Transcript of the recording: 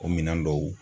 O minɛn dɔw